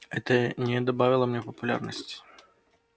это не добавило мне популярности